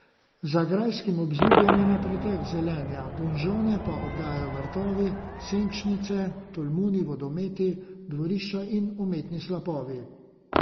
Za grajskim obzidjem je na pretek zelenja, donžone pa obdajajo vrtovi, senčnice, tolmuni, vodometi, dvorišča in umetni slapovi.